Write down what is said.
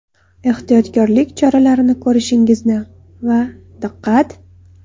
Ehtiyotkorlik choralarini ko‘rishingizni va ‘Diqqat!